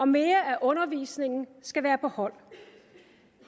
mere af undervisningen skal være på hold